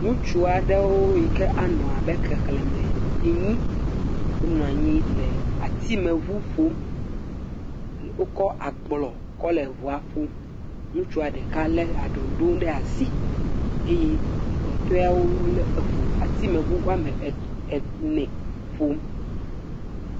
Ŋutsu aɖewo yi ke anɔ abe xexlẽme enyi wonɔ anyi le atimeŋu ƒom. Wokɔ agblɔ kɔle ŋua ƒom. Ŋutsua ɖeka lé aɖoŋɖoŋ ɖe asi Eye kpɔtɔeawo wolé eŋu, atimeŋu woame ɛɛ ɛɛ ene ƒom